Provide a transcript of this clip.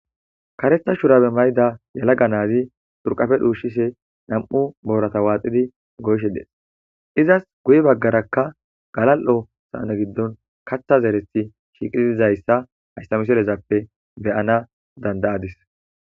Kareta shurabe mayida yelaga nazi xurqape dhusishe nam'u borata waxidi goyishe des izasi guye bagarakka galalo sane gidon katha zerethi shiiqi dizaysa haysa misilezappe beyana danda'adis